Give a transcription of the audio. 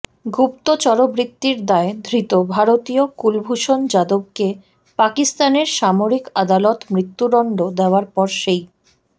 গুপ্তচরবৃত্তির দায়ে ধৃত ভারতীয় কুলভূষণ যাদবকে পাকিস্তানের সামরিক আদালত মৃত্যুদণ্ড দেওয়ার পর সেই